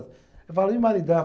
Eu falo, e o maridão?